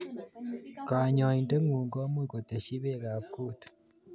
Kanyoindet ngung komuch koteschi beekab kut